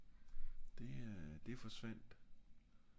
det er øh det forsvandt